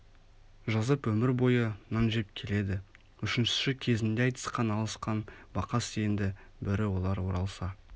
жазып өмір бойы нан жеп келеді үшіншісі кезінде айтысқан алысқан бақас енді бірі олар оралса